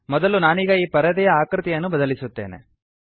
ಮೊದಲು ನಾನೀಗ ಈ ಪರದೆಯ ಆಕೃತಿಯನ್ನು ಬದಲಿಸುತ್ತೇನೆ